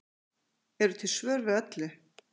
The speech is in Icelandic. eru til svör við öllu